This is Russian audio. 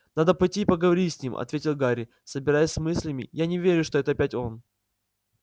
надо пойти и поговорить с ним ответил гарри собираясь с мыслями я не верю что это опять он